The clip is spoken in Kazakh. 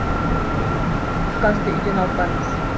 түскі асты үйден алып барыңыз